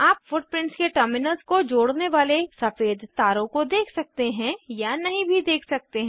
आप फुटप्रिंट्स के टर्मिनल्स को जोड़ने वाले सफ़ेद तारों को देख सकते हैं या नहीं भी देख सकते हैं